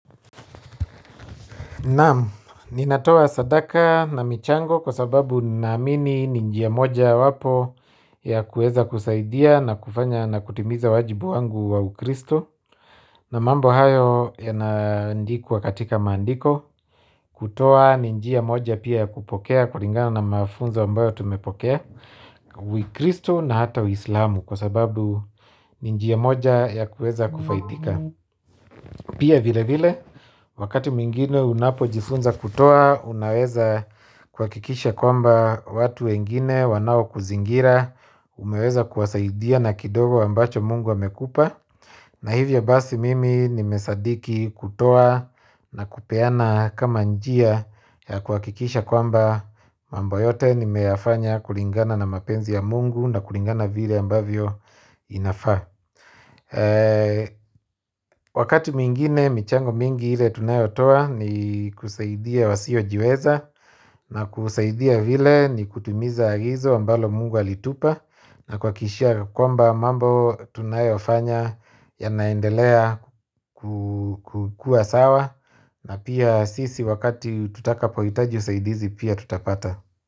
Naam, ninatoa sadaka na michango kwa sababu ninaamini ni njia moja yawapo ya kuweza kusaidia na kufanya na kutimiza wajibu wangu wa ukristo na mambo hayo yanaandikwa katika maandiko kutoa ninjia moja pia ya kupokea kulingana na mafunzo ambayo tumepokea ukristo na hata uislamu kwa sababu ninjia moja ya kueza kufaidika pia vile vile wakati mwingine unapo jifunza kutoa unaweza kuhakikisha kwamba watu wengine wanao kuzingira umeweza kuwasaidia na kidogo ambacho Mungu amekupa na hivyo basi mimi nimesadiki kutoa na kupeana kama njia ya kuhakikisha kwamba mambo yote nimeyafanya kulingana na mapenzi ya Mungu na kulingana na vile ambavyo inafaa wakati mwingine michango mingi ile tunayotoa ni kusaidia wasio jiweza na kusaidia vile ni kutimiza agizo ambalo Mungu alitupa na kuhakikisha kwamba mambo tunayofanya yanaendelea kukuwa sawa na pia sisi wakati tutakapohitaji usaidizi pia tutapata.